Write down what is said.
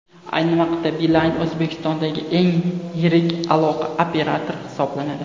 Ayni vaqtda Beeline O‘zbekistondagi eng yirik aloqa operatori hisoblanadi.